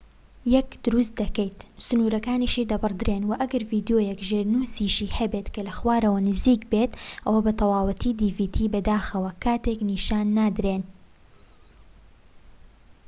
بەداخەوە، کاتێک dvdیەک دروست دەکەیت، سنوورەکانیشی دەبڕدرێن، و ئەگەر ڤیدیۆکە ژێرنووسیشی هەبێت کە لە خوارەوە نزیک بێت، ئەوە بە تەواوی نیشان نادرێن